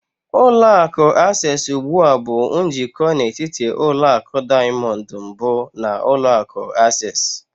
Ụlọ akụ Access ugbu a bụ njikọ n'etiti ụlọ akụ Diamond mbụ na ulọ akụ Access.